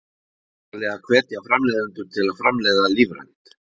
Það þarf væntanlega að hvetja framleiðendur til að framleiða lífrænt?